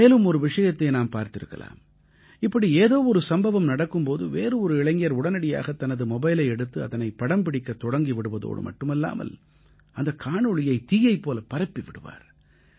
மேலும் ஒரு விஷயத்தை நாம் பார்த்திருக்கலாம் இப்படி ஏதோ ஒரு சம்பவம் நடக்கும் போது வேறு ஒரு இளைஞர் உடனடியாகத் தனது மொபைலை எடுத்து அதனைப் படம்பிடிக்கத் தொடங்கி விடுவதோடு மட்டுமல்லாமல் அந்தக் காணொளியை தீயைப் போலப் பரப்பி விடுவார்